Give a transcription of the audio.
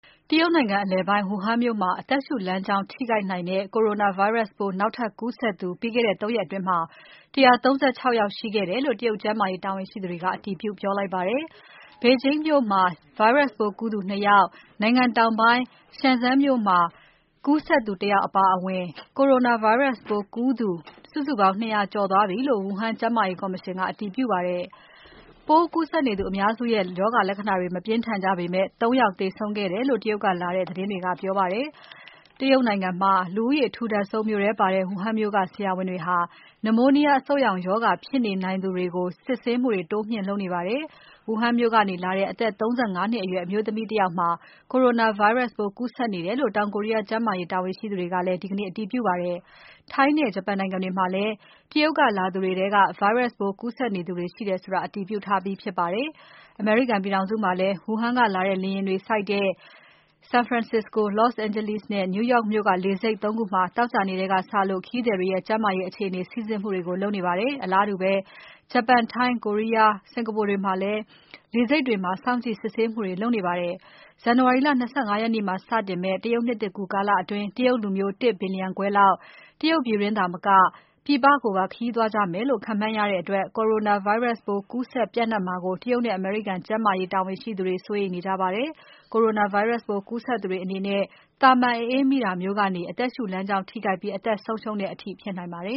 တရုတ်နိုင်ငံ အလယ်ပိုင်းက Wuhan မြို့မှာ အသက်ရူလမ်းကြောင်းထိခိုက်နိုင်တဲ့ Coronavirus ပိုး နောက်ထပ်ကူးစက်သူ ပြီးခဲ့တဲ့ ၃ ရက်အတွင်း ၁၃၆ ယောက်ရှိခဲ့တယ်လို့ တရုတ်ကျန်းမာရေး တာဝန်ရှိသူတွေ အတည်ပြုပြောလိုက်ပါတယ်။ ဘေဂျင်းမြို့မှာ Virus ပိုးကူးသူ ၂ ယောက် နိုင်ငံတောင်ပိုင်း Shenzhen မြို့မှာကူးစက်သူ ၁ ယောက်အပါအဝင် Coronavirus ပိုးကူးသူ စုစုပေါင်း ၂ ရာကျော်သွားပြီလို့ Wuhan ကျန်းမာရေးကော်မရှင်က အတည်ပြုပါတယ်။ ပိုးကူးစက်နေသူအများစုရဲ့ ရောဂါလက္ခဏာတွေ မပြင်းထန်ကြပေမဲ့၊ ၃ ယောက်သေဆုံးတယ်လို့ တရုတ်ကလာတဲ့ သတင်းတွေကပြောပါတယ်။ တရုတ်နိုင်ငံမှာ လူဦးရေအထူထပ်ဆုံးမြို့ထဲမှာပါတဲ့ Wuhan မြို့က ဆရာဝန်တွေဟာ နမိုးနီးယား အဆုတ်ရောင်ရောဂါ ဖြစ်နေနိုင်သူတွေကို စစ်ဆေးမှုတွေ တိုးမြှင့်လုပ်နေပါတယ်။ Wuhan မြို့ကနေလာတဲ့ အသက် ၃၅ နှစ်အရွယ် အမျိုးသမီးတယောက်မှာ Coronavirus ပိုးကူးစက်နေတယ်လို့ တောင်ကိုရီးယားကျန်းမာရေးတာဝန်ရှိသူတွေကလည်း ဒီကနေ့ အတည်ပြုပါတယ်။ ထိုင်းနဲ့ ဂျပန်နိုင်ငံတွေမှာလည်း Virus ပိုးကူးစက်နေသူတွေရှိတယ်ဆိုတာ အတည်ပြုထားပြီးဖြစ်ပါတယ်။ အမေရိကန်ပြည်ထောင်စုမှာလည်း Wuhan ကလာတဲ့လေယာဉ်တွေဆိုက်တဲ့ San Francisco, Los Angeles, နဲ့ New York မြို့ကလေဆိပ် ၃ ခုမှာ သောကြာနေ့ထဲကစလို့ ခရီးသည်တွေရဲ့ ကျန်းမာရေးအခြေအနေ စိစစ်မှုတွေကို လုပ်နေပါတယ်။ အလားတူပဲ ဂျပန်၊ ထိုင်း၊ တောင်ကိုရီးယား၊ စင်္ကာပူနိုင်ငံတွေမှာလည်း လေဆိပ်တွေမှာ စောင့်ကြည့်စစ်ဆေးမှုတွေလုပ်နေပါတယ်။ ဇန်နဝါရီ ၂၅ ရက်နေ့မှာ စတင်မယ့် တရုတ်နှစ်သစ်ကူးကာလအတွင်း တရုတ်လူမျိုး ၁ ဘီလျံခွဲလောက် တရုတ်ပြည်တွင်းတင်မက ပြည်ပကိုပါ ခရီးသွားကြမယ်လို့ ခန့်မှန်းရတဲ့အတွက် Coronavirus ပိုးကူးစက်ပျံ့နှံ့မှာကို တရုတ်နဲ့ အမေရိကန်ကျန်းမာရေးတာဝန်ရှိသူတွေ စိုးရိမ်နေကြပါတယ်။ Coronavirus ပိုးကူးစက်သူတွေအနေနဲ့ သာမန်အအေးမိတာမျိုးကနေ အသက်ရူလမ်းကြောင်းထိခိုက်ပြီး အသက်ဆုံးရှုံးတဲ့အထိ ဖြစ်နိုင်ပါတယ